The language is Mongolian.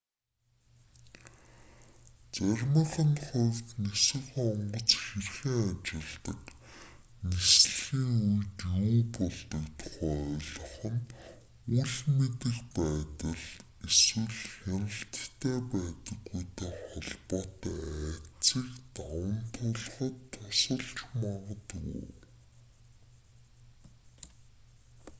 заримынх нь хувьд нисэх онгоц хэрхэн ажилладаг нислэгийн үед юу болдог тухай ойлгох нь үл мэдэх байдал эсвэл хяналттай байдаггүйтэй холбоотой айдсыг даван туулахад тусалж магадгүй